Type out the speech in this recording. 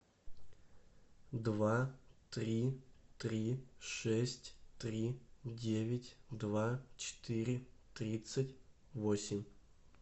два три три шесть три девять два четыре тридцать восемь